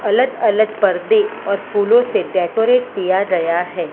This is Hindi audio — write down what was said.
अलग अलग पर्दे और फूलों से डेकोरेट किया गया है।